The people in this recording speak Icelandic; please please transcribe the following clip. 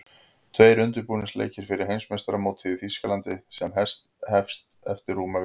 Tveir undirbúningsleikir fyrir Heimsmeistaramótið í Þýskalandi sem hest eftir rúma viku.